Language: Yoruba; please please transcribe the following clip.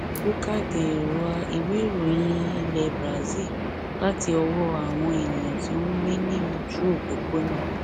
boca de rua iwe ìròyìn ilé brazil láti ọwọ àwọn ènìyàn tí ó ń gbé ní ojú òpópónà